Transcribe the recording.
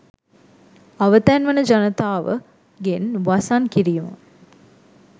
අවතැන් වන ජනතාව ගෙන් වසන් කිරීම